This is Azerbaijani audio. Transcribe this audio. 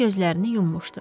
O gözlərini yummuşdu.